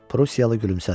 Prussiyalı gülümsədi.